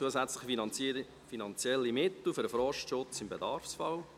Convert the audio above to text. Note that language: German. «Zusätzliche finanzielle Mittel für den Forstschutz im Bedarfsfall».